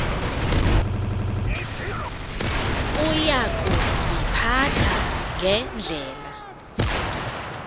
uya kuziphatha ngendlela